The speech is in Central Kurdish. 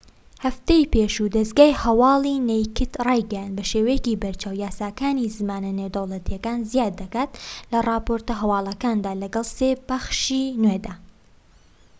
هەفتەی پێشوو دەزگای هەوالی نەیکد رایگەیاند بە شێوەیەکی بەرچاو یاساکانی زمانە نێودەوڵەتیەکانی زیاد دەکات لە راپۆرتە هەوالەکاندا لەگەڵ سێ پەخشی نوێدا